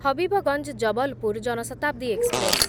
Habibganj Jabalpur Jan Shatabdi express